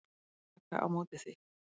Taka á móti því.